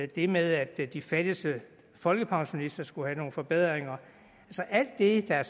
det med at de fattigste folkepensionister skulle have nogle forbedringer alt det der er